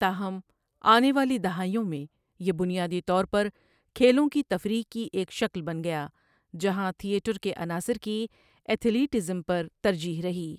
تاہم، آنے والی دہائیوں میں، یہ بنیادی طور پر کھیلوں کی تفریح کی ایک شکل بن گیا، جہاں تھیٹر کے عناصر کی ایتھلیٹزم پر ترجیح رہی۔